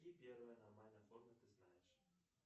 какие первые аномальные формы ты знаешь